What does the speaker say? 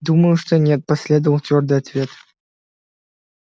думаю что нет последовал твёрдый ответ